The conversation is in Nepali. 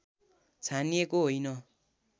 छानिएको होइन